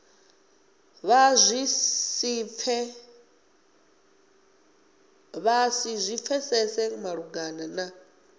vha si zwi pfesese malugana